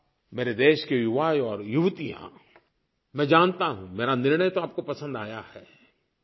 आप मेरे देश के युवा और युवतियाँ मैं जानता हूँ मेरा निर्णय तो आपको पसन्द आया है